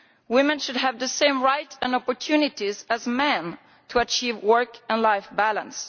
Women should have the same rights and opportunities as men to achieve work-life balance.